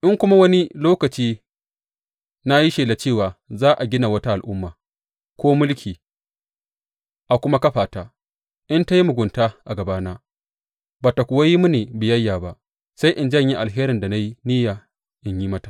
In kuma wani lokaci na yi shela cewa za a gina wata al’umma ko mulki a kuma kafa ta, in ta yi mugunta a gabana ba tă kuwa yi mini biyayya ba, sai in janye alherin da na yi niyya in yi mata.